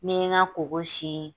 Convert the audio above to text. Ni n ye n ka koko sin.